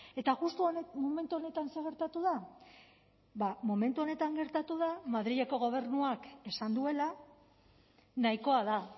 eta justu momentu honetan zer gertatu da ba momentu honetan gertatu da madrileko gobernuak esan duela nahikoa da